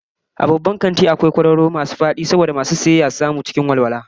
A babban kanti akwai kwararo kwararo masu fadi domin masu sayan kaya suyi yawon neman abubuwa cikin walwala